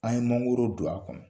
An ye mango don a kɔnɔ.